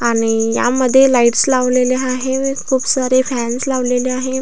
आणि यामध्ये लाईटस लावलेल्या आहेत खूप सारे फॅन्स लावलेले आहे.